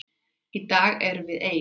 Í dag erum við ein.